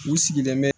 U sigilen bɛ